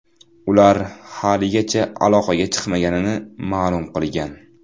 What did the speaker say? Ular haligacha aloqaga chiqmaganini ma’lum qilgan.